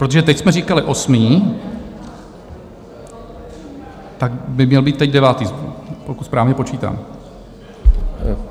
Protože teď jsme říkali osmý, tak by měl být teď devátý, pokud správně počítám.